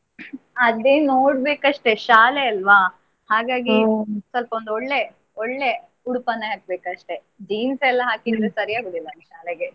ಅದೇ ನೋಡ್ಬೇಕ್ ಅಷ್ಟೇ ಶಾಲೆ ಅಲ್ವಾ. ಹಾಗಾಗಿ ಸ್ವಲ್ಪ ಒಂದು ಒಳ್ಳೆ, ಒಳ್ಳೆ ಉಡುಪನ್ನೇ ಹಾಕ್ಬೇಕು ಅಷ್ಟೇ jeans ಎಲ್ಲಾ ಹಾಕಿದ್ರೆ ಸರಿಯಾಗುದಿಲ್ಲ ಶಾಲೆಗೆ.